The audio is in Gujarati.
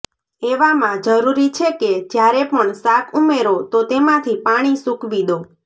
એવામાં જરૂરી છે કે જ્યારે પણ શાક ઉમેરો તો તેમાંથી પાણી સૂકવી દો